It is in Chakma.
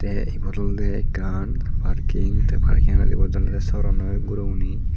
ei ibot olodey ekkan parking tay parkingot ibot olodey soronnoi guroguney.